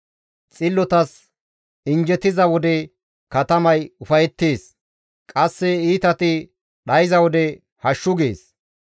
Xillotas injjetiza wode katamay ufayettees; qasse iitati dhayza wode hashshu gees.